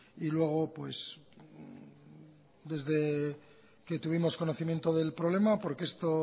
y luego desde que tuvimos conocimiento del problema porque esto